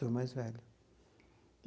Sou o mais velho.